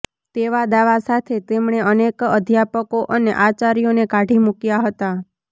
તેવા દાવા સાથે તેમણે અનેક અધ્યાપકો અને આચાર્યોને કાઢી મુકયા હતા